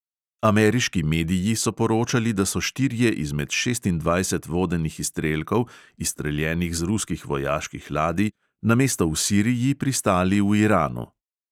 Ameriški mediji so poročali, da so štirje izmed šestindvajset vodenih izstrelkov, izstreljenih z ruskih vojaških ladij, namesto v siriji pristali v iranu.